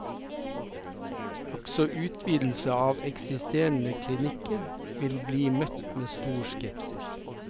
Også utvidelse av eksisterende klinikker vil bli møtt med stor skepsis.